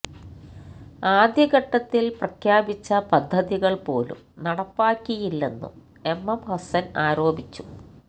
ആദ്യഘട്ടത്തിൽ പ്രഖ്യാപിച്ച പദ്ധതികൾ പോലും നടപ്പാക്കിയില്ലെന്നും എംഎം ഹസ്സൻ ആരോപിച്ചു